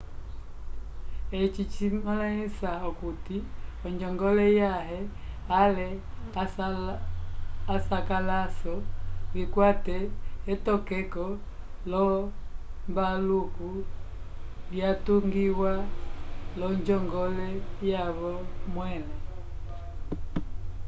eci cimõlisa okuti onjongole yãhe ale asakalaso vikwate etokeko l'ombaluko lyatungiwa l'onjongole yavo mwẽle